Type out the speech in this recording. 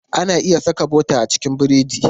Ana iya saka bota a cikin burodi.